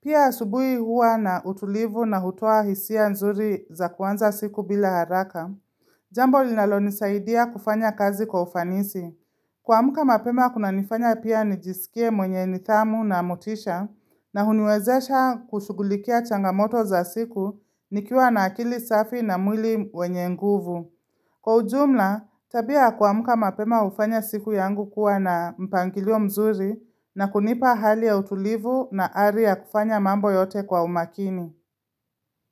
Pia asubuhi huwa na utulivu na hutoa hisia nzuri za kuanza siku bila haraka. Jambo linalonisaidia kufanya kazi kwa ufanisi. Kuamka mapema kunanifanya pia nijisikie mwenye nidhamu na motisha na huniwezesha kushughulikia changamoto za siku nikiwa na akili safi na mwili wenye nguvu. Kwa ujumla, tabia kuamka mapema hufanya siku yangu kuwa na mpangilio mzuri na kunipa hali ya utulivu na ari ya kufanya mambo yote kwa umakini.